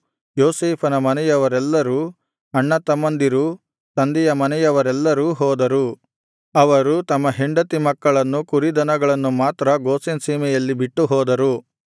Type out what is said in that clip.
ಯೋಸೇಫನ ಮನೆಯವರೆಲ್ಲರೂ ಅಣ್ಣತಮ್ಮಂದಿರೂ ತಂದೆಯ ಮನೆಯವರೆಲ್ಲರೂ ಹೋದರು ಅವರು ತಮ್ಮ ಹೆಂಡತಿ ಮಕ್ಕಳನ್ನು ಕುರಿದನಗಳನ್ನು ಮಾತ್ರ ಗೋಷೆನ್ ಸೀಮೆಯಲ್ಲಿ ಬಿಟ್ಟು ಹೋದರು